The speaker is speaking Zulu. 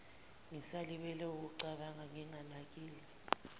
ngisalibele wukucabanga nginganakile